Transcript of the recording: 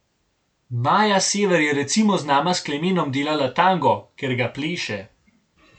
Maja Sever je recimo z nama s Klemenom delala tango, ker ga pleše.